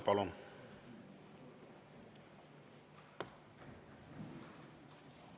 Palun!